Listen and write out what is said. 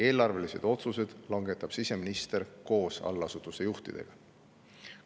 Eelarvelised otsused langetab siseminister koos allasutuste juhtidega.